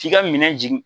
K'i ka minɛn jigi